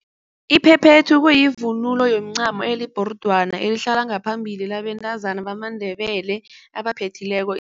Iphephethu kuyivunulo yomincamo libhorodwana elihlala ngaphambili labentazana bamaNdebele abaphethileko.